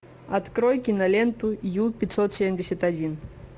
открой киноленту ю пятьсот семьдесят один